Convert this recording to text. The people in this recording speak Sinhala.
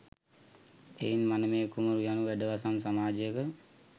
එයින් මනමේ කුමරු යනු වැඩවසම් සමාජයක